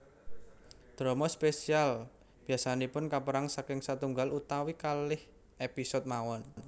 Drama spesial biasanipun kapèrang saking sètunggal utawi kalih episode mawon